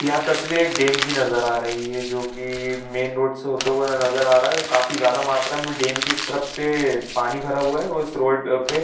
यह तस्वीर एक डैम का नजर आ रही है जोकि मैं रोड से होते हुए नजर आ रहा काफी ज्यादा मात्रा में डैम इस तरफ पे पानी भरा हुआ है और इस रोड पे--